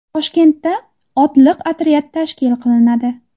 Toshkentda otliq otryad tashkil qilinadi .